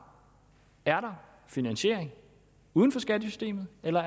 er finansiering uden for skattesystemet eller